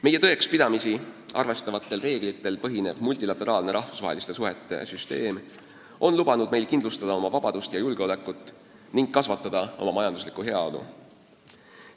Meie tõekspidamisi arvestavatel reeglitel põhinev multilateraalne rahvusvaheliste suhete süsteem on võimaldanud meil kindlustada oma vabadust ja julgeolekut ning kasvatada majanduslikku heaolu.